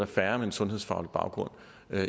færre med en sundhedsfaglig baggrund